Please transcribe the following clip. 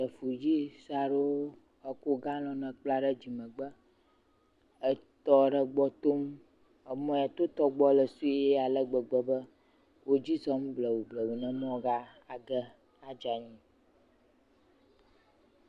Ɖevi sue aɖewo ekɔ galɔn kpla ɖe dzimegbe. Wo tɔ aɖe gbɔ tom. Emɔ ya tɔ gbɔ la le sue alegbegbe be wodzi zɔzɔm blewu blewu be wò maa va ge adze anyi